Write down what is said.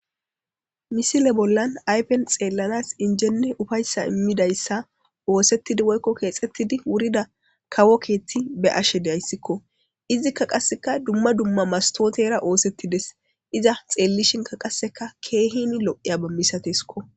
Missile bollan ayiffen xellanas injenne uffayissa immidaysa othetid woyikko kexxetidi wurida kawo keththi be'ashe dayisiko izika qaseka duma duma mastotera oththetidesi iza xellishinka qaseka kehin lo'iyabba masatesiko.